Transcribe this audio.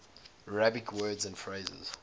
arabic words and phrases